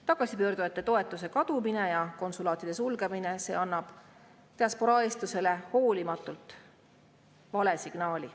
Tagasipöörduja toetuse kadumine ja konsulaatide sulgemine – see annab diasporaa eestlastele hoolimatult vale signaali.